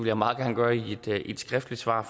jeg meget gerne gøre i et skriftligt svar